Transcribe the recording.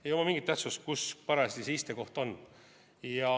Ei oma mingit tähtsust, kus parajasti see istekoht on.